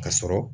Ka sɔrɔ